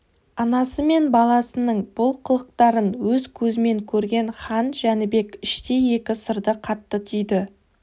анасы мен баласының бұл қылықтарын өз көзімен көрген хан жәнібек іштей екі сырды қатты түйді